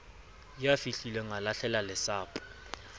ya fihlileng a lahlela lesapo